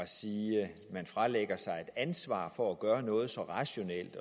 siger at man fralægger sig et ansvar for at gøre noget at så rationelt